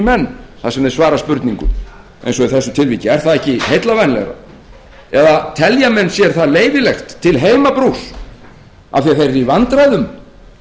í menn þar sem þeir svara spurningum eins og í þessu tilviki er það ekki heillavænlegra eða telja menn sér það leyfilegt til heimabrúks af því að þeir eru í vandræðum